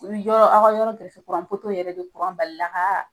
U y'u jɔ aw ka yɔrɔ gɛrɛfɛ kuran poto yɛrɛ bɛ, kuran balila ka